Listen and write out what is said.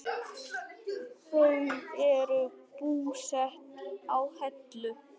Þau eru búsett á Hellu.